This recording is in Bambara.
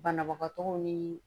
Banabagatɔw ni